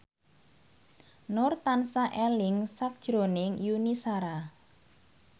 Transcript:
Nur tansah eling sakjroning Yuni Shara